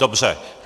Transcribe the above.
Dobře.